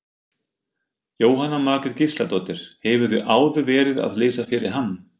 Jóhanna Margrét Gísladóttir: Hefurðu áður verið að lesa fyrir hann?